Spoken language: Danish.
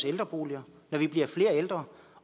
ældreboliger når vi bliver flere ældre